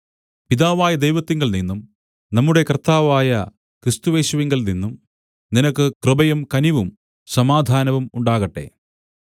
പിതാവായ ദൈവത്തിങ്കൽനിന്നും നമ്മുടെ കർത്താവായ ക്രിസ്തുയേശുവിങ്കൽനിന്നും നിനക്ക് കൃപയും കനിവും സമാധാനവും ഉണ്ടാകട്ടെ